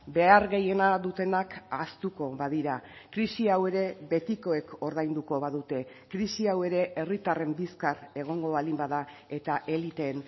behar gehiena dutenak ahaztuko badira krisi hau ere betikoek ordainduko badute krisi hau ere herritarren bizkar egongo baldin bada eta eliteen